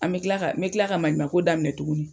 An bɛ kila ka me kila ka maɲuman ko daminɛ tuguni.